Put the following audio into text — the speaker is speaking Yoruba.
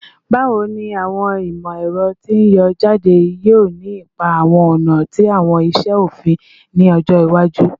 Bawo ni awọn imọ-ẹrọ ti n yọ jade yoo ni ipa awọn ọna ti awọn iṣe ofin ni ọjọ iwaju?